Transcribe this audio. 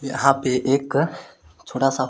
यहां पे एक छोटा सा--